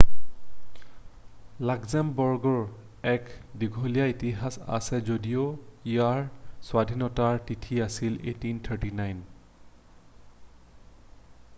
লাক্সেমবাৰ্গৰ এক দীঘলীয়া ইতিহাস আছে যদিও ইয়াৰ স্বাধীনতাৰ তিথি আছিল 1839